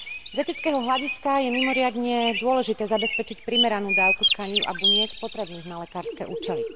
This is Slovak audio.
Z etického hľadiska je mimoriadne dôležité zabezpečiť primeranú dávku tkanív a buniek potrebných na lekárske účely.